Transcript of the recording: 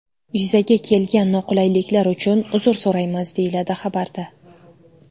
Yuzaga kelgan noqulayliklar uchun uzr so‘raymiz!”, deyiladi xabarda.